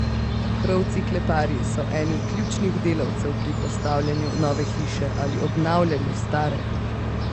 Krovci kleparji so eni ključnih delavcev pri postavljanju nove hiše ali obnavljanju stare.